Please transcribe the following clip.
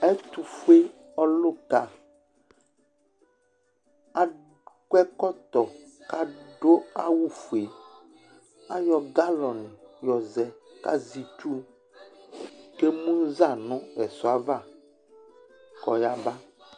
Ɛtʋfʋe ɔluka Akɔ ɛkɔtɔ kʋ aɖu awu fʋe Aɣɔ galone ɣɔzɛ kʋ azɛ itsu kʋ emuza ŋu ɛsɔɛ ava kʋ aɣaba